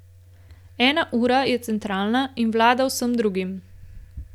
Ena ura je centralna in vlada vsem drugim.